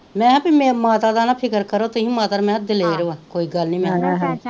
ਮੈਕੇਆ ਭੇਈ ਮਾਤਾ ਦਾ ਨਾਂ ਤੁਹੀ ਫਿਕਰ ਤੁਹੀ ਮਾਤਾ ਨੂੰ ਮੈਕੇਆ ਦਲੇਰ ਵਾਂ ਕੋਈ ਗੱਲ ਨੀ ਮੈਕਿਆ,